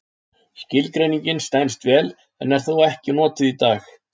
Skilgreiningin stenst vel en er þó ekki notuð í dag.